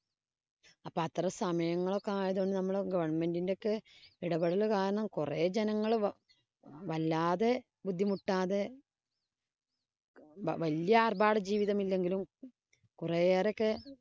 അപ്പൊ അത്തരം സമയങ്ങളൊക്കെ ആയതു കൊണ്ട് നമ്മുടെ government ന്‍റെ ഒക്കെ ഇടപെടല് കാരണം കൊറേ ജനങ്ങള് വല്ലാതെ ബുദ്ധിമുട്ടാതെ വല്യ ആര്‍ഭാട ജീവിതമില്ലെങ്കിലും കുറെയേറെയൊക്കെ